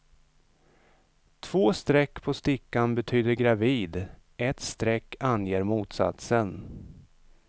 Två streck på stickan betyder gravid, ett streck anger motsatsen.